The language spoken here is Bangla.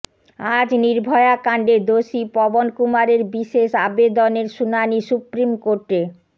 আজ নির্ভয়াকাণ্ডে দোষী পবন কুমারের বিশেষ আবেদনের শুনানি সুপ্রিম কোর্টে